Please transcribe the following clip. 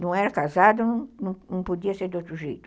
Não era casado, não não podia ser de outro jeito.